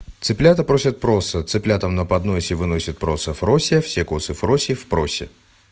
цыплята просят просо цыплятам на подносе выносит просо фрося все косы фроси в просе